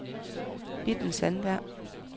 Bitten Sandberg